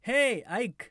हेय ऐक